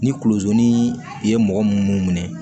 Ni kulozoli ye mɔgɔ munnu minɛ